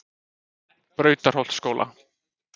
Brautarholtsskóla